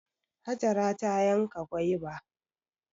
Hajara ta yanka gwaiba.